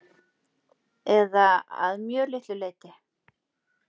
Eða að mjög litlu leyti.